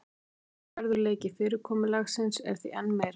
Trúverðugleiki fyrirkomulagsins er því enn meiri